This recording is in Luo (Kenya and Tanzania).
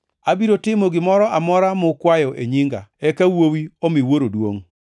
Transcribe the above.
Abiro timo gimoro amora mukwayo e nyinga, eka Wuowi omi Wuoro duongʼ.